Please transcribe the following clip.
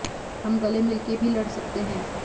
हम गले मिल के भी लड़ सकते हैं